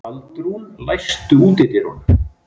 Baldrún, læstu útidyrunum.